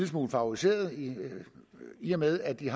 smule favoriserede i og med at de